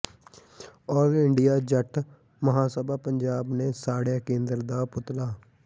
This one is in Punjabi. ਆਲ ਇੰਡੀਆ ਜੱਟ ਮਹਾਸਭਾ ਪੰਜਾਬ ਨੇ ਸਾੜਿਆ ਕੇਂਦਰ ਦਾ ਪੁਤਲਾ